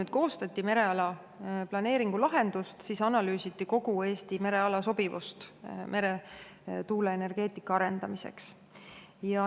" Kui koostati mereala planeeringu lahendust, siis analüüsiti kogu Eesti mereala sobivust meretuuleenergeetika arendamiseks.